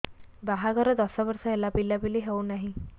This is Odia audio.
ବାହାଘର ଦଶ ବର୍ଷ ହେଲା ପିଲାପିଲି ହଉନାହି